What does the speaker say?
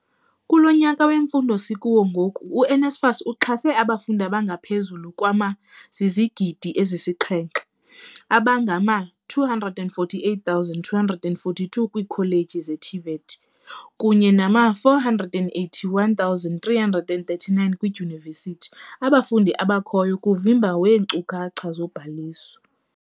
"Kulo nyaka wemfundo sikuwo ngoku, u-NSFAS uxhase abafundi abangaphezulu kwama-700 0000, abangama-248 242 kwiikholeji ze-TVET kunye nama-481 339 kwiidyunivesithi, abafundi abakhoyo kuvimba weenkcukacha zobhaliso."